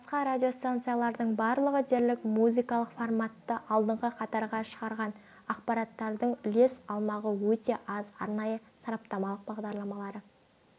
басқа радиостанциялардың барлығы дерлік музыкалық форматты алдыңғы қатарға шығарған ақпараттардың үлес алмағы өте аз арнайы сараптамалық бағдарламалары